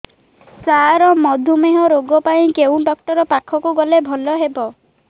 ସାର ମଧୁମେହ ରୋଗ ପାଇଁ କେଉଁ ଡକ୍ଟର ପାଖକୁ ଗଲେ ଭଲ ହେବ